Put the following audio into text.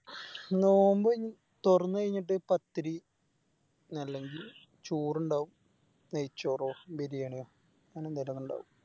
നോമ്പ് തൊറന്നയിഞ്ഞിട്ട് പത്തിരി അല്ലെങ്കില് ചോറിണ്ടാവും നെയ്‌ച്ചോറോ ബിരിയാണിയോ അങ്ങനെ എന്തെലൊക്കെ ഇണ്ടാവും